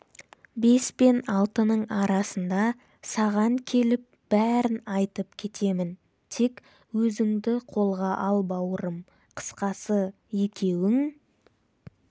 бес пен алтының арасында саған келіп бәрін айтып кетемін тек өзіңді қолға ал бауырым қысқасы екеуің